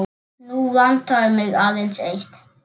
Nú vantar mig aðeins eitt!